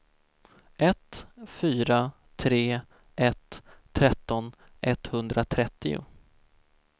ett fyra tre ett tretton etthundratrettio